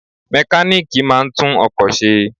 Mẹkálíkì máa ń tún ọkọ̀ ṣe.